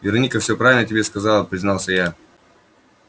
вероника всё правильно тебе сказала признался я